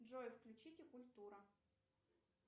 джой включите культура